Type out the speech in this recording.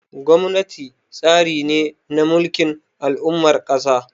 Gwamnati tsari ne na mulkin al'ummar ƙasa.